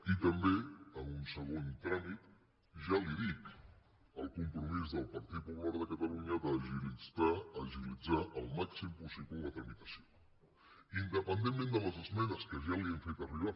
i també en un segon tràmit ja li dic el compromís del partit popular de catalunya d’agilit·zar al màxim possible la tramitació independentment de les esmenes que ja li hem fet arribar